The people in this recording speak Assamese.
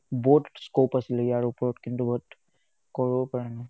বহুত scope আছিলে ইয়াৰ ওপৰত কিন্তু but কৰিব পৰা নাই